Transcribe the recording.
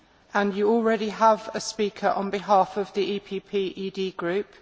and you already have a speaker on behalf of the PPE Group.